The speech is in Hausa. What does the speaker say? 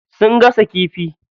Sun gasa kifi.